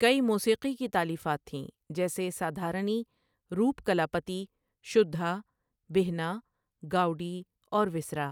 کئی موسیقی کی تالیفات تھیں جیسے سادھارنی، روپکلاپتی، شُدھا، بھِنا، گاؤڈی اور ویسرہ۔